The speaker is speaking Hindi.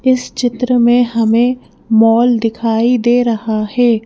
इस चित्र में हमें मॉल दिखाई दे रहा है।